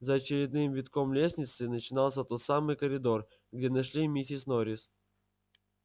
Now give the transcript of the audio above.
за очередным витком лестницы начинался тот самый коридор где нашли миссис норрис